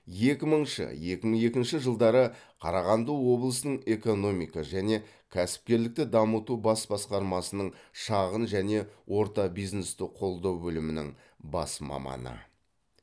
екі мыңшы екі мың екінші жылдары қарағанды облысының экономика және кәсіпкерлікті дамыту бас басқармасының шағын және орта бизнесті қолдау бөлімінің бас маманы